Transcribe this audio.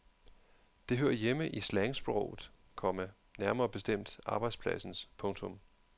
Det hører hjemme i slangsproget, komma nærmere bestemt arbejdspladsens. punktum